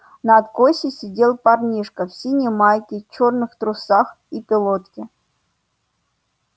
на откосе сидел парнишка в синей майке черных трусах и пилотке